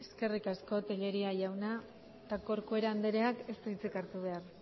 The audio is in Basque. eskerrik asko tellería jauna eta corcuera andreak ez du hitzik hartu behar